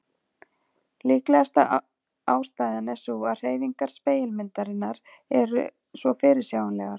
Líklegasta ástæðan er sú að hreyfingar spegilmyndarinnar eru svo fyrirsjáanlegar.